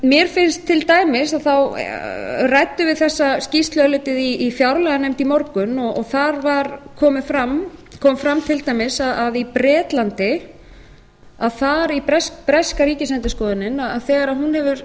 mér finnst til dæmis og þá ræddum við þessa skýrslu örlítið í fjárlaganefnd í morgun og þar kom fram til dæmis að í bretlandi þegar breska ríkisendurskoðunin hefur